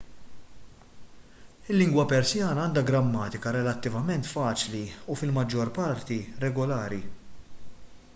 il-lingwa persjana għandha grammatika relattivament faċli u fil-maġġor parti regolari